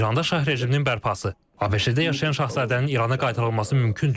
İranda şah rejiminin bərpası, ABŞ-da yaşayan şahzadənin İrana qaytarılması mümkündür.